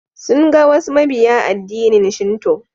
Sun ga wasu mabiya addinin shinto.